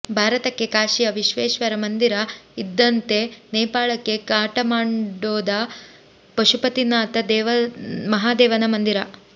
ಭಾರತಕ್ಕೆ ಕಾಶಿಯ ವಿಶ್ವೇಶ್ವರ ಮಂದಿರ ಇದ್ದಂತೆ ನೇಪಾಳಕ್ಕೆ ಕಾಠಮಾಂಡೊದ ಪಶುಪತಿನಾಥ ಮಹಾದೇವನ ಮಂದಿರ